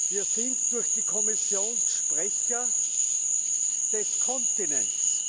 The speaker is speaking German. Wir sind durch die Kommission Sprecher des Kontinents.